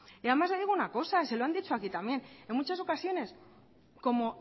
y además le digo una cosa y se lo han dicho aquí también en muchas ocasiones como